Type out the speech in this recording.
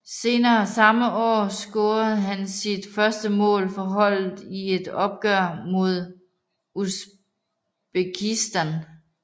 Senere samme år scorede han sit første mål for holdet i et opgør mod Usbekistan